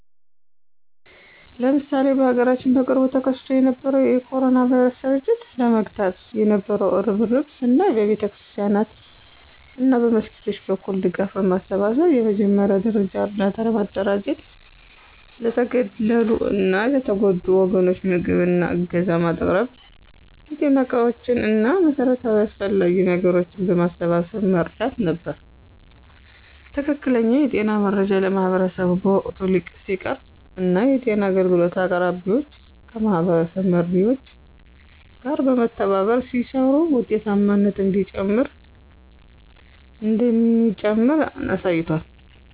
ለምሳሌ በሀገራችን በቅርቡ ተከስቶ የነበረውን የ ኮሮና ቫይረስ ስርጭት ለመግታት የነበው እርብርብን ስናይ በቤተክርስቲያናት እና መስጊዶች በኩል ድጋፍ በማሰባሰብ የመጀመሪያ ደረጃ እርዳታ ማደራጀት ለተገለሉ እና የተጎዱ ወገኖች ምግብ እና ዕገዛ ማቅረብ የጤና ዕቃዎች እና መሠረታዊ አስፈላጊ ነገሮችን በማሰባሰብ መርዳት ነበር። ትክክለኛ የጤና መረጃ ለማህበረሰቡ በወቅቱ ሲቀርብ እና የጤና አገልግሎት አቅራቢዎች ከማህበረሰብ መሪዎች ጋር በመተባበር ሲሰሩ ውጤታማነት እንደሚጨምር አሳይቷል።